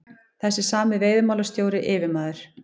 Þessi sami veiðimálastjóri, yfirmaður